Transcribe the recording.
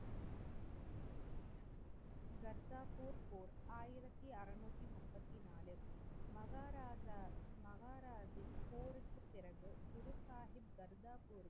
கர்தாப்பூர் போர் ஆயிரத்தி அருநூற்றி முப்பதிநாலு. மகராஜா மகாராஜன் போருக்கு பிறகு குரு சாஹிப்